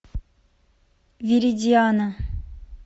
виридиана